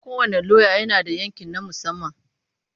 Kowane lauya yana da yanki na musamman.